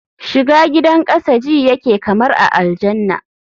shiga gidan kasa ji yake kamar a aljanna